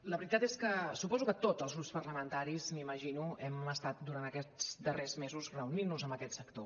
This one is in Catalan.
la veritat és que suposo que tots els grups parlamentaris m’imagino hem estat durant aquests darrers mesos reunint nos amb aquest sector